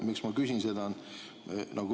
Miks ma seda küsin?